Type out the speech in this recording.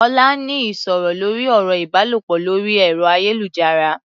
Ọlá ń ní ìsọ̀rọ̀ lórí ọ̀rọ̀ ìbálòpọ̀ lórí ẹ̀rọ-ayélujára.